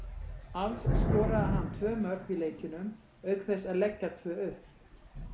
Alls skoraði hann tvö mörk í leikjunum auk þess að leggja tvö upp.